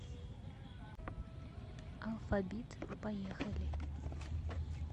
алфабит поехали